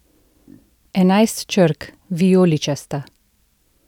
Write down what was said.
Enajst črk: 'vijoličasta'.